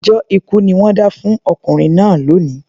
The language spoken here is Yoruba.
Ẹjọ́ ikú ni wọ́n dá fún ọkùnrin náà lónìí